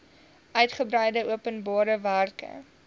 uitgebreide openbare werke